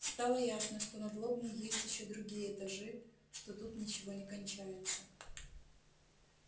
стало ясно что над лобней есть ещё другие этажи что тут ничего не кончается